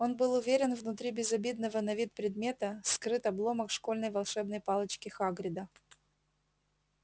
он был уверен внутри безобидного на вид предмета скрыт обломок школьной волшебной палочки хагрида